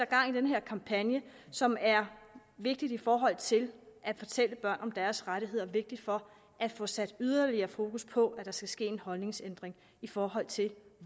gang i den her kampagne som er vigtig i forhold til at fortælle børn om deres rettigheder vigtig for at få sat yderligere fokus på at der skal ske en holdningsændring i forhold til